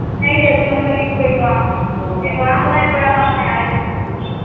night எத்தன மணிக்கு வேணுனாலு போய்க்கலாம் எப்பவேனுனாலு போலா எப்பவேனுனாலு வரலா யாரும் எதுவும் கேட்கமாட்டாங்க